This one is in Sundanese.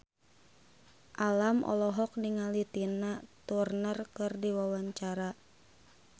Alam olohok ningali Tina Turner keur diwawancara